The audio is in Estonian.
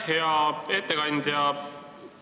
Hea ettekandja!